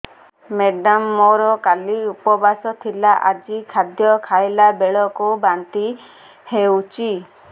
madam ମୋର କାଲି ଉପବାସ ଥିଲା ଆଜି ଖାଦ୍ୟ ଖାଇଲା ବେଳକୁ ବାନ୍ତି ହେଊଛି